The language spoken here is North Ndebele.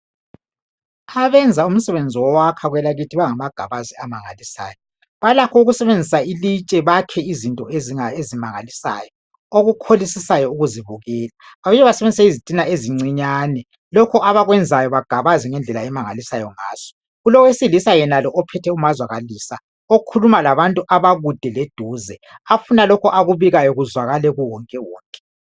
Abenza umsebenzi wokwakha kwelakithi bangamagabazi amangalisayo balakho ukusebenzisa ilitshe bakhe izinto ezimangalisayo okukholisisayo ukuzibukela. Babuye basebenzise izitina ezincinyane lokho abakwenzayo bagabaze ngendlela emangalisayo ngaso. kulowesilisa yenalo ophethe umazwakalisa okhuluma labantu abakude leduze afuna lokhu akubikayo kuzwakale kuwonkewonke.